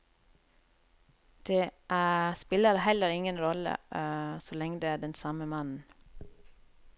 Det spiller heller ingen rolle så lenge det er den samme mannen.